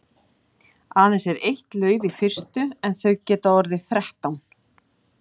Aðeins er eitt lauf í fyrstu en þau geta orðið þrettán.